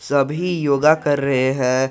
सभी योग कर रहे हैं।